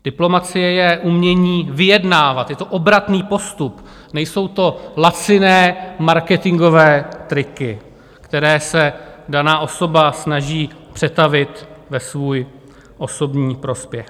Diplomacie je umění vyjednávat, je to obratný postup, nejsou to laciné marketingové triky, které se daná osoba snaží přetavit ve svůj osobní prospěch.